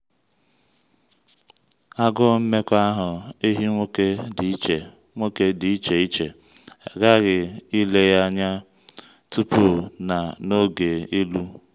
agụụ nmekọahụ ehi nwoke dị iche nwoke dị iche iche a ghaghị ile ya anya tupu na n’oge ịlụ.